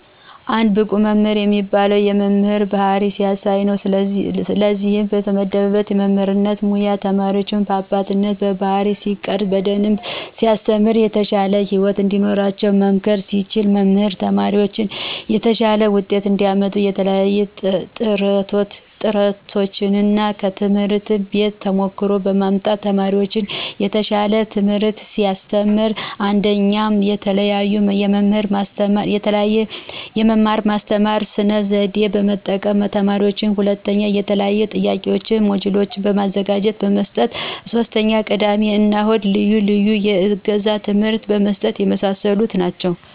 አንድ ብቁ መምህር የሚባለው የመምህር ባህሪ ሲያሳይ ነው። ለእነዚህም ለተመደበበት የመምህርነት ሙያ ተማሪዎችን በአባትነት ባህሪይ ሲቀርፅ። በደንብ ሲያስተምር። የተሻለ ህይወት እንዲኖራቸው መምከር ሲችል። መምህር ተማሪዎችን የተሻለ ውጤት እንዲያመጡ የተለያዪ ጥረቶችን እና ከትምህርት ቤት ተሞክሮ በማምጣት ለተማሪዎች የተሻል ትምህርት ሲያስተምር። 1ኞ፦ የተለዬዬ የመማር ማስተማሩን ስነ ዘዴ በመጠቀም ማስተማር 2ኞ፦ የተለያዬ የጥያቂ ሞጅሎችን በማዘጋጀት መስጠት 3ኞ፦ የቅዳሜ እና እሁድ ልዪ ልዬ የእገዛ ትምህርት መስጠት የመሳሰሉ ናቸው።